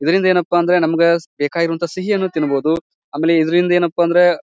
ಏನಪ್ಪಾ ಅಂದ್ರ ನಮಗ್ ಬೇಕಾಗಿರುವಂತಹ ಸಿಹಿ ಅನ್ನು ತಿನ್ನಬಹುದು. ಆಮೇಲ್ ಇದರಿಂದ ಏನಪ್ಪಾ ಅಂದ್ರ.